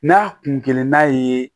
N'a kun kelen n'a ye